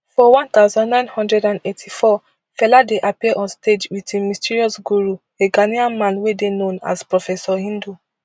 for one thousand, nine hundred and eighty-four fela dey appear on stage wit im mysterious guru a ghanaian man wey dey known as professor hindu